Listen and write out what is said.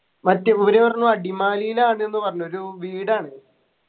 മറ്റെ ഇവര് പറഞ്ഞു അടിമാലിൽ ആണ്ന്ന് പറഞ്ഞു ഒരു വീടാണ്